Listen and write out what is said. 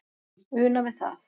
una við það